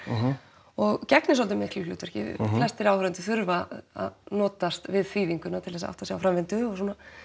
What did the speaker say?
og gegnir svolítið miklu hlutverki flestir áhorfendur þurfa að notast við þýðinguna til að átta sig á framvindu og